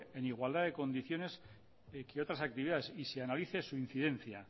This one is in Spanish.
en igualdad de condiciones que otras actividades y se analice su incidencia